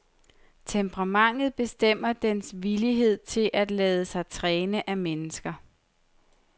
Temperamentet bestemmer dens villighed til at lade sig træne af mennesker.